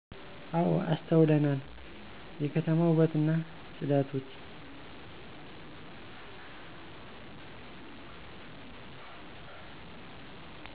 እው አስተውለናል የከተማ ውበትና ጽዳቶች